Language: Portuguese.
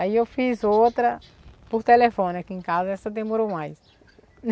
Aí eu fiz outra por telefone aqui em casa, essa demorou mais.